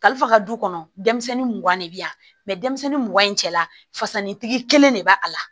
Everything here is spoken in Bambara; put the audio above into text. Kalifa ka du kɔnɔ denmisɛnnin mugan de bɛ yan denmisɛnnin mugan in cɛla fasanitigi kelen de b'a a la